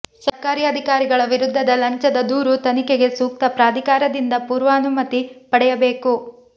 ಸರ್ಕಾರಿ ಅಧಿಕಾರಿಗಳ ವಿರುದ್ಧದ ಲಂಚದ ದೂರು ತನಿಖೆಗೆ ಸೂಕ್ತ ಪ್ರಾಧಿಕಾರದಿಂದ ಪೂರ್ವಾನುಮತಿ ಪಡೆಯಬೇಕು